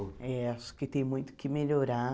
É, acho que tem muito que melhorar.